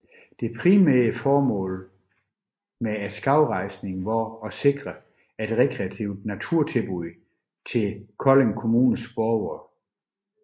Det primære formål med skovrejsningen var at sikre et rekreativt naturtilbud til Kolding kommunes borgere